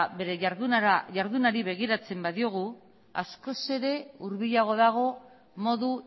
bere jardunari begiratzen badiogu askoz ere hurbilago dago modu